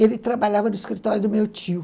Ele trabalhava no escritório do meu tio.